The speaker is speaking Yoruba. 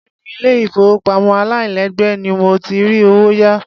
Béèni ilé ìfowópamọ́ aláìgbèlé ni mo ti rí owó yá.